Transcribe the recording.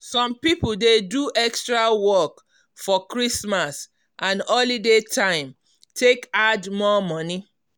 some people dey do extra work for christmas and holiday time take add more money.